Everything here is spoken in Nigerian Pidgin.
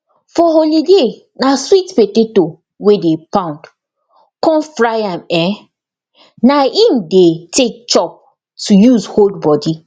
for holiday na sweet potato wey dey pound con fry am um na im dey take chop to use hold body